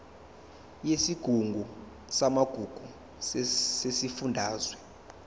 yesigungu samagugu sesifundazwe